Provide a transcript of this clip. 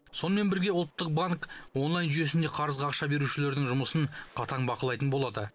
сонымен бірге ұлттық банк онлайн жүйесінде қарызға ақша берушілердің жұмысын қатаң бақылайтын болады